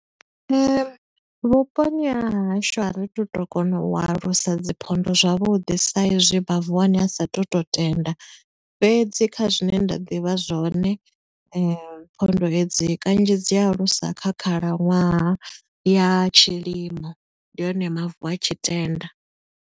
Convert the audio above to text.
Nṋe vhuponi ha hashu a ri tu to kona u alusa dzi phonḓa zwavhuḓi sa i zwi mavu a hone a sa thu to tenda. Fhedzi kha zwine nda ḓivha zwone, phonḓa hedzi kanzhi dzi alusa kha khalaṅwaha ya tshilimo ndi hone mavu a tshi tenda.